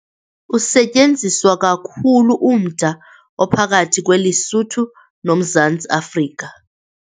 Usetyenziswa kakhulu umda ophakathi kweLesotho noMzantsi Afrika.